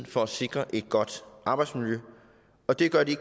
for at sikre et godt arbejdsmiljø og det gør de